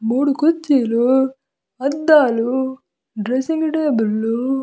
మూడు కుర్చీలు అద్దాలు డ్రెస్సింగ్ టేబుళ్లు --